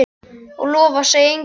Og lofa að segja engum frá því?